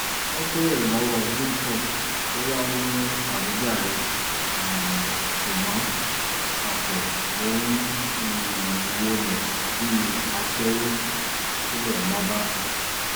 wọ́n béèrè lọ́wọ́ victor bóyá ó ní àwíjàre um ṣùgbọ́n pákò ló ń um wọlé bíi aṣẹ́wó tilẹ̀ mọ́ bá